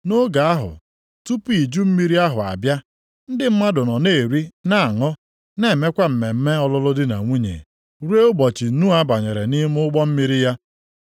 Nʼoge ahụ tupu iju mmiri ahụ abịa, ndị mmadụ nọ na-eri na aṅụ, na-emekwa mmemme ọlụlụ di na nwunye, ruo ụbọchị Noa banyere nʼime ụgbọ mmiri ya.